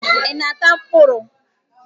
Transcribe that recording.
Ị na-ata mkpụrụ?